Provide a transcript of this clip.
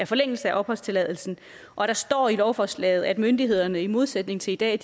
forlængelse af opholdstilladelsen og der står i lovforslaget at myndighederne i modsætning til i dag